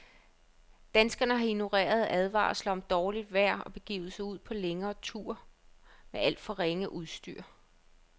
Danskerne har ignoreret advarsler om dårligt vejr og begivet sig ud på længere ture med alt for ringe udstyr.